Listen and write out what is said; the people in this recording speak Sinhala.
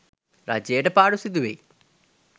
රජයට පාඩු සිදු වෙයි